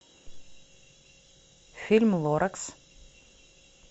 фильм лоракс